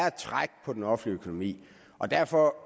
et træk på den offentlige økonomi derfor